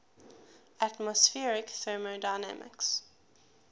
atmospheric thermodynamics